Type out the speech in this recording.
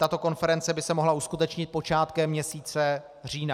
Tato konference by se mohla uskutečnit počátkem měsíce října.